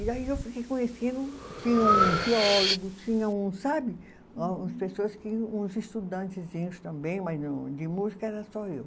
E aí eu fiquei conhecendo, tinha um geólogo, tinha uns sabe, umas pessoas que, uns estudantezinhos também, mas no de música era só eu.